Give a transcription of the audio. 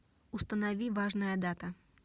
установи важная дата